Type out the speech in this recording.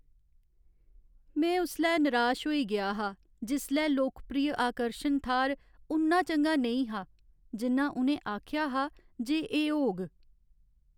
में उसलै नराश होई गेआ हा जिसलै लोकप्रिय आकर्शन थाह्र उन्ना चंगा नेईं हा जिन्ना उ'नें आखेआ हा जे एह् होग।